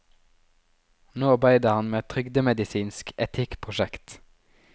Nå arbeider han med et trygdemedisinsk etikkprosjekt.